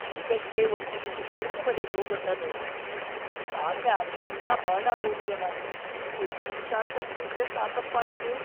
ಈಗಷ್ಟೇ ಒಂದ್ ಇಲಿ ಅಡ್ಗೆಮನೆಗ್ ಹೋಗೋದ್ನ ನೋಡ್ದೆ. ಈಗಾಗ್ಲೇ ಅರ್ಧ ಊಟ ಮಾಡಾಗೋಗಿದೆ ನಾನು. ಏನೂ ಹುಷಾರ್‌ ತಪ್ದಿದ್ರೆ ಸಾಕಪ್ಪ ಇನ್ನು!